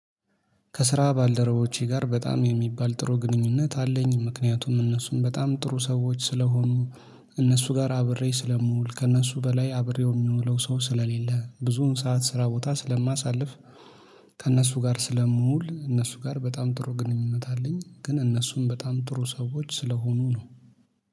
ከስራ ባልደረቦቼ ጋር በጣም የሚባል ጥሩ ግንኙነት አለኝ ምክንያቱም እነሱም በጣም ጥሩ ሰዎች ስለሆኑ እነሱ ጋር አብሬ ስለምውል ከእነሱ በላይ አብሬው የሚውለው ሰው ስለሌለ ብዙውን ሰዓት ስራ ቦታ ስለማሳልፍ ከእነሱ ጋር ስለምውል እነሱ ጋር በጣም ጥሩ ግንኙነት አለኝ ግን እነሱም በጣም ጥሩ ሰዎች ስለሆኑ ነው።